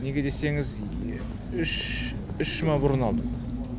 неге десеңіз үш жұма бұрын алдым